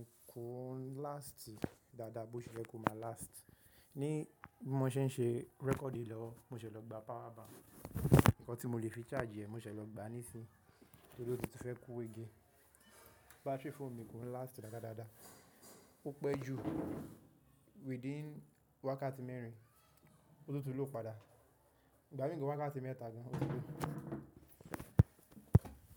Kúún last dáadáa bó ti ye ko má last. Ni bi mó ṣe ń ṣe record yi lówo, mo ṣẹ̀ lọ gba power bank. Ǹkan tí mo lè fi charge ẹ̀, mo ṣẹ̀ lọ gba nísí. Torí ó ti fẹ́ kú igi. Battery fóònù mi kon last rara dáadáa. Ó pẹ́ jù within wákàtí mẹ́rin, òti tun lów padà. Igbá mi gan wákàtí mẹ́ta gan òti tun low.